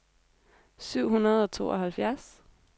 syv hundrede og tooghalvfjerds